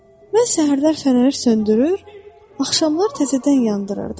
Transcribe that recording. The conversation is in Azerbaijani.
Mən səhərlər fənəri söndürür, axşamlar təzədən yandırırdım.